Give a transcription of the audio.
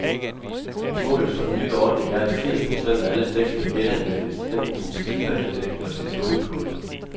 Målet for den nye ordning er, at firs procent af alle dæk skal genanvendes, enten som slidbanedæk eller som gummipulver.